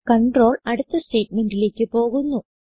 control അടുത്ത സ്റ്റേറ്റ്മെന്റിലേക്ക് പോകുന്നു